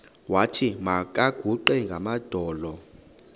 wathi makaguqe ngamadolo